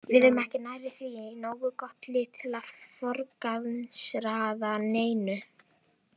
Við erum ekki nærri því nógu gott lið til að forgangsraða neinu.